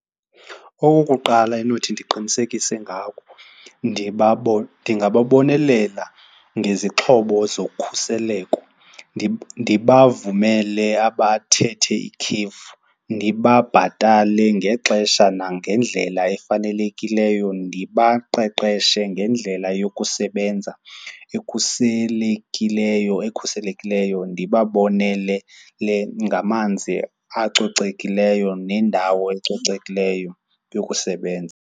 Okokuqala endinothi ndiqinisekise ngako ndingababonelela ngezixhobo zokhuseleko, ndibavumele abathethe ikhefu, ndibabhatale ngexesha nangendlela efanelekileyo. Ndibaqeqeshe ngendlela yokusebenza ekhuselekileyo, ekhuselekileyo, ndibabonelele ngamanzi acocekileyo nendawo ecocekileyo yokusebenza.